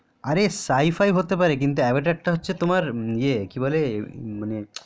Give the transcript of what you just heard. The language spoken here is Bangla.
আরে সাইফই হতে পারে কিন্তু তোমার অবতারটা হচ্ছে কি বলে তোমার এ